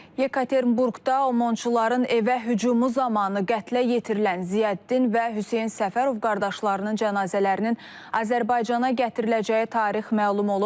Yekaterinburqda Omonçuların evə hücumu zamanı qətlə yetirilən Ziyəddin və Hüseyn Səfərov qardaşlarının cənazələrinin Azərbaycana gətiriləcəyi tarix məlum olub.